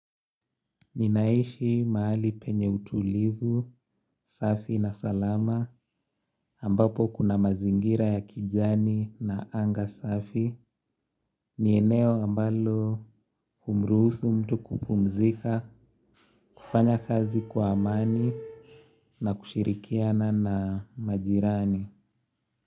Ninaishi mahali penye utulivu, safi na salama, ambapo kuna mazingira ya kijani na anga safi. Ni eneo ambalo humruhusu mtu kupumzika, kufanya kazi kwa amani na kushirikiana na majirani.